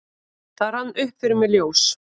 Það rann upp fyrir mér ljós: